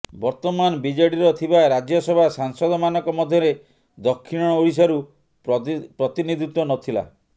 ବର୍ତ୍ତମାନ ବିଜେଡିର ଥିବା ରାଜ୍ୟସଭା ସାଂସଦମାନଙ୍କ ମଧ୍ୟରେ ଦକ୍ଷିଣ ଓଡିଶାରୁ ପ୍ରତିନିଧିତ୍ୱ ନଥିଲା